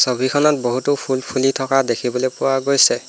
ছবিখনত বহুতো ফুল ফুলি থকা দেখিবলে পোৱা গৈছে।